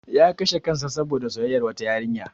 Ya kashe kansa saboda soyayya wata yariya.